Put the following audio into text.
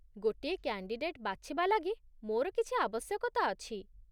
ଗୋଟିଏ କ୍ୟାଣ୍ଡିଡେଟ୍ ବାଛିବା ଲାଗି ମୋର କିଛି ଆବଶ୍ୟକତା ଅଛି ।